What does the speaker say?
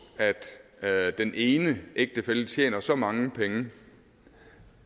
at den ene ægtefælle tjener så mange penge